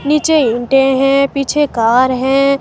नीचे ईंटें है पीछे कार है।